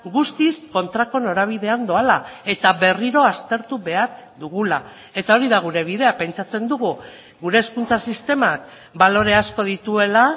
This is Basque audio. guztiz kontrako norabidean doala eta berriro aztertu behar dugula eta hori da gure bidea pentsatzen dugu gure hezkuntza sistemak balore asko dituela